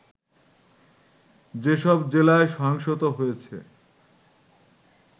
যেসব জেলায় সহিংসতা হয়েছে